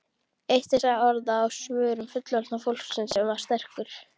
Eitt þessara orða á vörum fullorðna fólksins var stekkur.